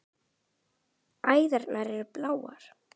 Æðarnar eru bláar.